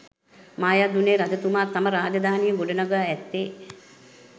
මායාදුන්නේ රජතුමා තම රාජධානිය ගොඩනඟා ඇත්තේ